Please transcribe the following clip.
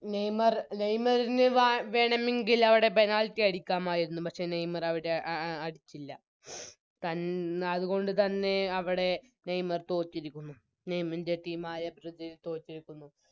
Neymar നെയ്മറിന് വാ വേണമെങ്കിൽ അവിടെ Penalty അടിക്കാമായിരുന്നു പക്ഷെ നെയ്‌മറവിടെ അവിടെ ആ അ അടിച്ചില്ല തൻ അതുകൊണ്ട് തന്നെ അവിടെ നെയ്‌മർ തോറ്റിരിക്കുന്നു നെയ്മൻറെ Team ആയ ബ്രസീൽ തോറ്റിരിക്കുന്നു